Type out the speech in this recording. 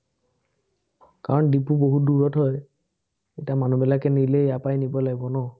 কাৰণ দিপু বহু দুৰত হয়, এতিয়া মানুহবিলাকে নিলে ইয়াৰপৰাই নিব লাগিব ন।